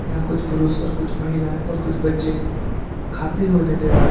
यहां कुछ पुरुष और कुछ महिलाएं और कुछ बच्चे खाते हुए नजर आ रहे--